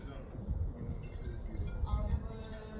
Çünki o yerdə qala-qala hələ də düzələn bir şey deyil.